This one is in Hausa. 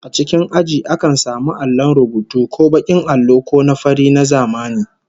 A cikin aji akan samu allon rubutu, ko bakin allo ko na fari na zamani